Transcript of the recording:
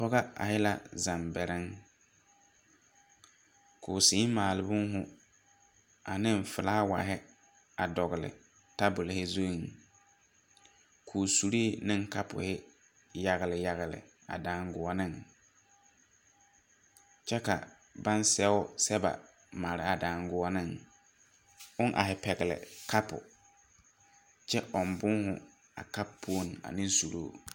Pɔga ahe la zambɛrɛŋ. Koo sēē maale bõõhõ ane felaawahe a dɔgele taabolehe zuŋ. Koo suree ne kapoho yagele yagele a daŋgoɔneŋ. Kyɛ ka baŋ sɛo sɛba a mare a daŋgoɔneŋ, oŋ ahe pɛgele kapo kyɛ ɔŋ bõõhõ a kapo puo ane suruu.